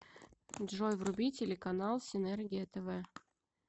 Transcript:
джой вруби телеканал синергия тв